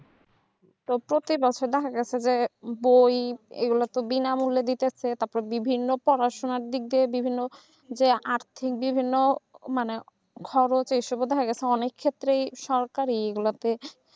তার প্রতি বছর দেখা গেছে যে বই এগুলো তো বিনামূল্যে দিতে ছে তারপরে বিভিন্ন পড়াশোনার দিক দিয়ে বিভিন্ন যে আর্থিক বিভিন্ন মানে এসব দেখা যাচ্ছে অনেক ক্ষেত্রেই সরকারি